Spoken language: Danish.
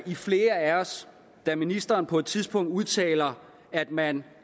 i flere af os da ministeren på et tidspunkt udtalte at man